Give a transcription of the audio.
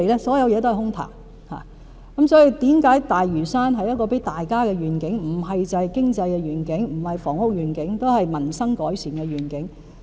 所以發展大嶼山是給大家的願景，不只是經濟、房屋的願景，也是民生改善的願景。